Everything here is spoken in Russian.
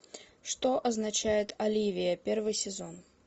что означает оливия первый сезон